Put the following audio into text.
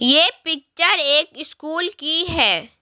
ये पिक्चर एक स्कूल की है।